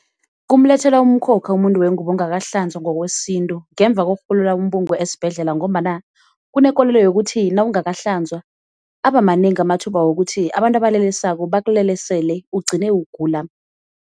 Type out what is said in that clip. Kumlethela umkhokha umuntu wengubo ongakahlanzwa ngokwesintu ngemva kokurhulula umbungu esibhedlela, ngombana kunekolelo yokuthi nawungakahlanzwa abamanengi amathuba wokuthi abantu abalelesako bakulelesele ugcine ukugula.